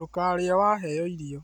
Ndũkarĩe waheo irio